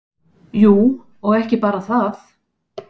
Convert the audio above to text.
Jú, og ekki bara það.